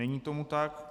Není tomu tak.